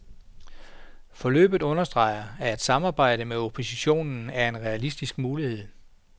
Forløbet understreger, at et samarbejde med oppositionen er en realistisk mulighed.